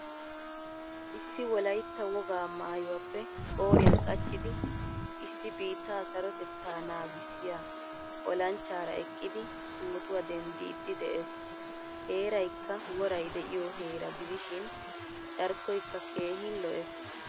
Issi wolaytta wogaa maayuwaappe qoriyan qachchidi issi biittaa sarotettaa naagisiya ollanchchaara eqqidi pootuwaa enddidi de'ees. Heeraykka woray de'iyo heeraa gidishin carkkoykka keehin lo'ees.